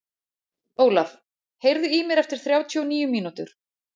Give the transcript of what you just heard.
Ólaf, heyrðu í mér eftir þrjátíu og níu mínútur.